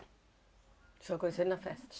A senhora conheceu ele na festa?